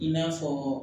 I n'a fɔ